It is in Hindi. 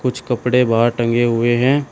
कुछ कपड़े बाहर टंगे हुए हैं।